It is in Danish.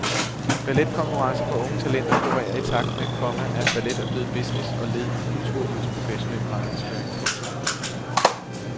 Balletkonkurrencer for unge talenter florerer i takt med, komma at ballet er blevet business og led i kulturlivets professionelle markedsføring. punktum